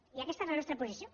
i aquesta és la nostra posició